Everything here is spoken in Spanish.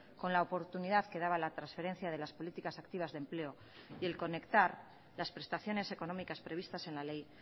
con la oportunidad que daba la transferencia de las políticas activas de empleo y el conectar las prestaciones económicas previstas en la ley